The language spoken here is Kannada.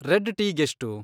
ರೆಡ್ ಟೀಗೆಷ್ಟು?